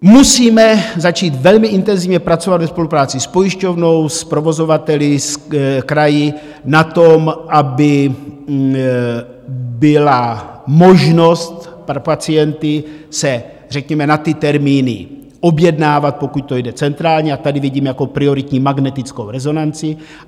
Musíme začít velmi intenzivně pracovat ve spolupráci s pojišťovnou, s provozovateli, s kraji na tom, aby byla možnost pro pacienty se řekněme na ty termíny objednávat, pokud to jde, centrálně, a tady vidím jako prioritní magnetickou rezonanci.